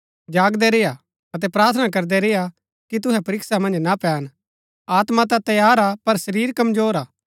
जागदै रेय्आ अतै प्रार्थना करदै रेय्आ कि तुहै परीक्षा मन्ज ना पैन आत्मा ता तैयार हा पर शरीर कमजोर हा